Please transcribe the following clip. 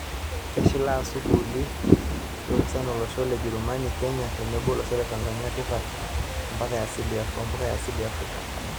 Keshilaa sukuuli e unipasti olosho le Jerumani, Kenya tenebo olosho le Tanzania tipat oo mpuka e asili e Afrika.